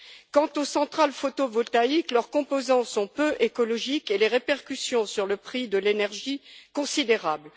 Quant aux centrales photovoltaïques, leurs composants sont peu écologiques, et les répercussions sur le prix de l'énergie, considérables.